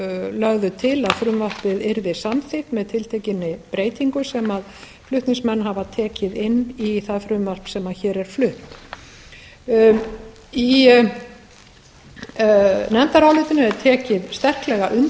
lögðu til að frumvarpið yrði samþykkt með tiltekinni breytingu sem flutningsmenn hafa tekið inn í það frumvarp sem hér er flutt í nefndarálitinu er tekið sterklega